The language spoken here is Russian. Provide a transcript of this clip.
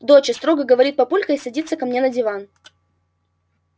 доча строго говорит папулька и садится ко мне на диван